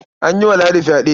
An yi wa Ladi fyaɗe.